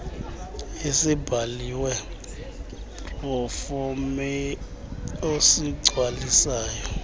esibhaliwe proforma osigcwalisayo